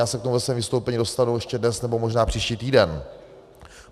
Já se k tomu ve svém vystoupení dostanu ještě dnes, nebo možná příští týden.